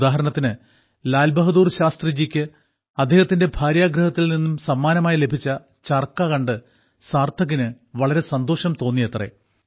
ഉദാഹരണത്തിന് ലാൽ ബഹാദൂർ ശാസ്ത്രിജിക്ക് അദ്ദേഹത്തിന്റെ ഭാര്യാഗൃഹത്തിൽ നിന്ന് സമ്മാനമായി ലഭിച്ച ചർക്ക കണ്ട് സാർത്ഥകിന് വളരെ സന്തോഷം തോന്നിയത്രെ